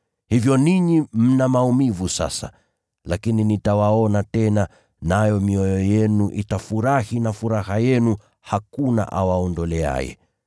Hivyo ninyi mna maumivu sasa, lakini nitawaona tena, nayo mioyo yenu itafurahi na furaha yenu hakuna awaondoleaye.